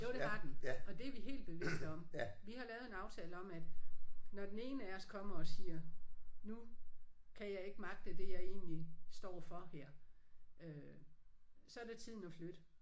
Jo det har den og det er vi helt bevidste om. Vi har lavet en aftale om at når den ene af os kommer og siger nu kan jeg ikke magte det jeg egentlig står for her øh så er det tiden at flytte